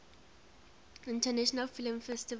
international film festival